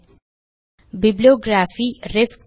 - bibliography ref